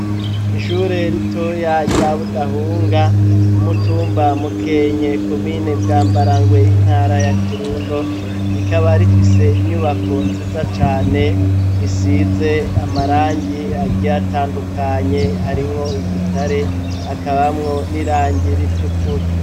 Ishure ritoya rya Budahunga, umutumba Mukenke, komine Bwambarangwe, intara ya Kirundo, rikaba rifise inyubako nziza cane, isize amarangi agiye atandukanye, harimwo igitare, hakabamwo n'irangi ritukura.